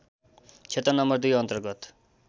क्षेत्र नं २ अन्तर्गत